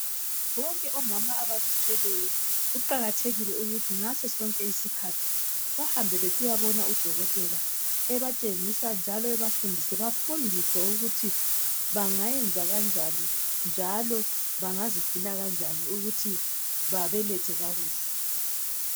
Bonke omama abazithweleyo kuqakathekile ukuthi ngaso sonke isikhathi bahambe besiyabona udokotela ebatshengisa njalo ebafundise bafundiswe ukuthi bengayenza kanjani njalo bangazigcina kanjani ukuthi babelethe kakuhle.